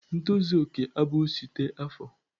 ntozu okè abụghị site afọ!